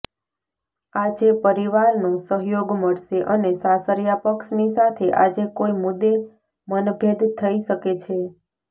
આજે પરિવારનો સહયોગ મળશે અને સાસરિયા પક્ષની સાથે આજે કોઈ મુદ્દે મનભેદ થઈ શકે છે